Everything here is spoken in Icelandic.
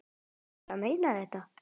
Ertu að meina þetta?